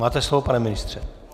Máte slovo, pane ministře.